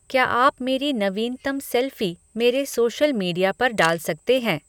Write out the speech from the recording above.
क्या आप मेरी नवीनतम सेल्फ़ी मेरे सोशल मीडिया पर डाल सकते हैं